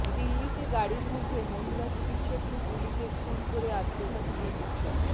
দিল্লিতে গাড়ির মধ্যে মহিলা চিকিৎসককে গুলিতে খুন করে আত্মঘাতী চিকিৎসক